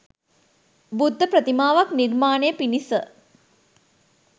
බුද්ධ ප්‍රතිමාවක් නිර්මාණය පිණිස